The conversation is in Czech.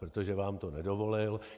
Protože vám to nedovolil..."